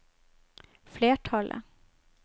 flertallet